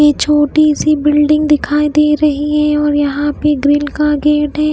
ये छोटी सी बिल्डिंग दिखाई दे रही है और यहां पे ग्रिल का गेट है।